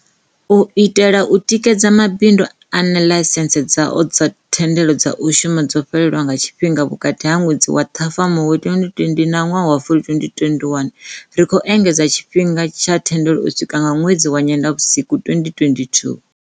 U itela u tikedza mabindu ane ḽaisentsi dzao dza thendelo dza u shuma dzo fhelelwa nga tshifhinga vhukati ha ṅwedzi wa Ṱhafamuhwe 2020 na wa Fulwi 2021, ri khou engedza tshi-fhinga tsha thendelo u swika nga ṅwedzi wa Nyendavhusiku 2022.